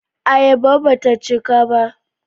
Ayaba ba ta cika ba.